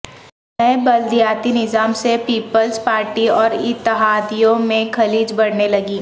نئے بلدیاتی نظام سے پیپلز پارٹی اور اتحادیوں میں خلیج بڑھنے لگی